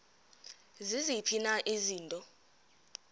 ziziphi na izinto